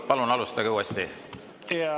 Palun alustage uuesti!